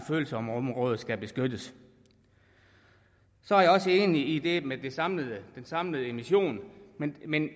følsomme områder skal beskyttes så er jeg også enig i det med den samlede samlede emission men men